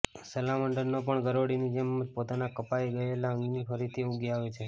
સલામાન્ડરને પણ ગરોળીની જેમ જ પોતાના કપાઇ ગયેલા અંગને ફરીથી ઉગી આવે છે